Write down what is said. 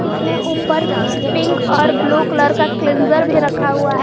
इसमें ऊपर पिक और ब्लू कलर का क्लींजर भी रखा हुआ है।